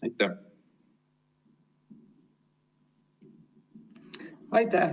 Aitäh!